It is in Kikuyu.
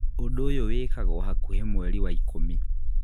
Ũndũ ũyũ wĩkagwo hakuhĩ mweri wa ikũmi